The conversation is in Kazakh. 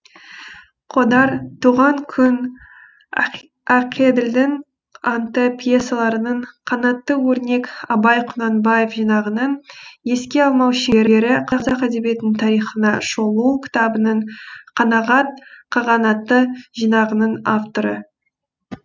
қодар туған күн ақеділдің анты пьесаларының қанатты өрнек абай құнанбаев жинағының еске алмау шеңбері қазақ әдебиетінің тарихына шолу кітабының қанағат қағанаты жинағының авторы